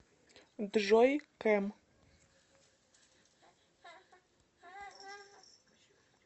джой кэм